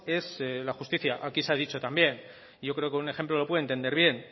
es la justicia aquí se ha dicho también y yo creo que un ejemplo lo puede entender bien